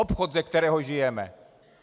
Obchod, ze kterého žijeme.